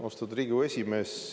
Austatud Riigikogu esimees!